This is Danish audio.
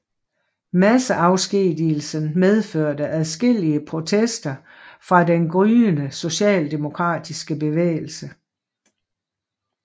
Masseafskedigelsen medførte adskillige protester fra den gryende socialdemokratiske bevægelse